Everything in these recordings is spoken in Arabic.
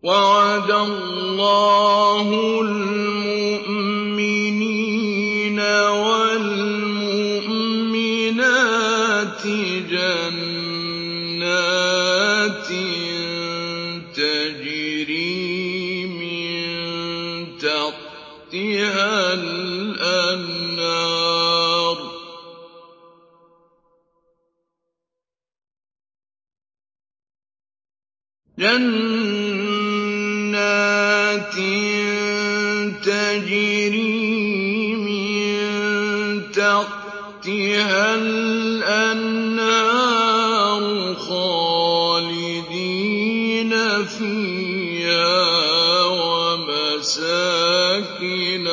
وَعَدَ اللَّهُ الْمُؤْمِنِينَ وَالْمُؤْمِنَاتِ جَنَّاتٍ تَجْرِي مِن تَحْتِهَا الْأَنْهَارُ خَالِدِينَ فِيهَا وَمَسَاكِنَ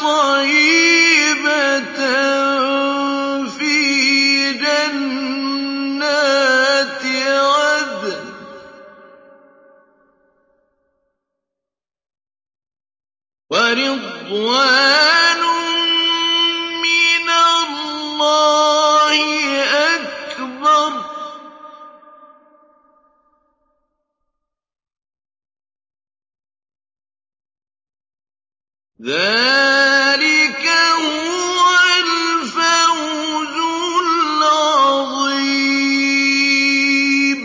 طَيِّبَةً فِي جَنَّاتِ عَدْنٍ ۚ وَرِضْوَانٌ مِّنَ اللَّهِ أَكْبَرُ ۚ ذَٰلِكَ هُوَ الْفَوْزُ الْعَظِيمُ